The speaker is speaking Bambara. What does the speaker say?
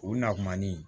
O na kuma ni